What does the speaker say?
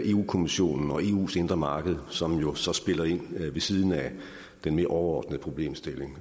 kommissionen og eus indre marked som jo så spiller ind ved siden af den mere overordnede problemstilling